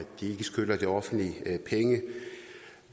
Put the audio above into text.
de ikke skylder det offentlige penge